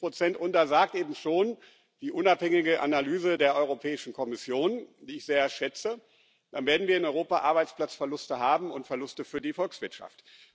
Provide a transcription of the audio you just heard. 45 Und dann sagt eben schon die unabhängige Analyse der Europäischen Kommission, die ich sehr schätze Dann werden wir in Europa Arbeitsplatzverluste haben und Verluste für die Volkswirtschaft.